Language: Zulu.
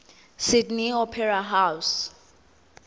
sydney opera house